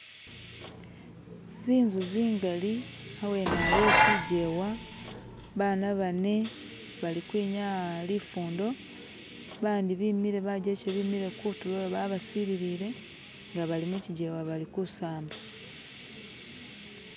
zinzu zingali awene aliwo chijewa bana bane bali kwinyaya lifundo bandi bimile bajeche bemile kutuloyo babasililile nga bali muchijewa bali kusamba